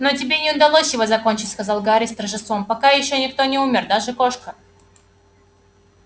но тебе не удалось его закончить сказал гарри с торжеством пока ещё никто не умер даже кошка